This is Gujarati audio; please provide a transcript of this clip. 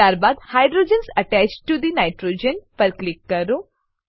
ત્યારબાદ hydrogens attached to the nitrogen પર ક્લિક કરો